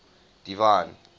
divine